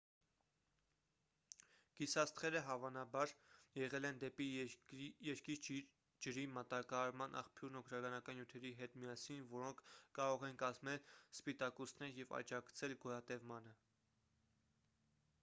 գիսաստղերը հավանաբար եղել են դեպի երկիր ջրի մատակարարման աղբյուրն օրգանական նյութերի հետ միասին որոնք կարող են կազմել սպիտակուցներ և աջակցել գոյատևմանը